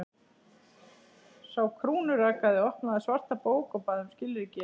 Sá krúnurakaði opnaði svarta bók og bað um skilríki.